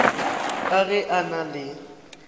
ka ge a na le